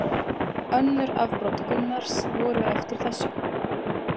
Önnur afbrot Gunnars voru eftir þessu.